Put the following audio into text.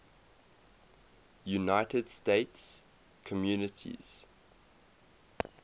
united states communities